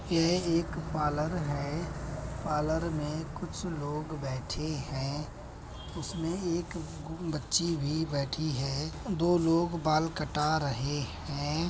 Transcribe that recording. यह एक पार्लर है। पार्लर में कुछ लोग बैठे हैं उसमें एक ग-बच्ची भी बैठी है दो लोग बाल कटा रहे हैं।